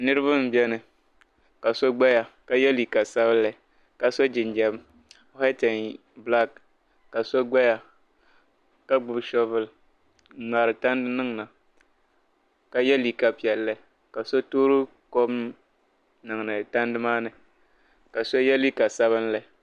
Nirba m be ni ka so gbaya ka ye liiga sabinli ka so jinjiɛm waati en bilaaki ka so gbaya ka gbibi soobuli n ŋmaari tandi niŋda ka ye liiga piɛlli ka so toori kom niŋdi tandi maani ka so ye liiga sabinli.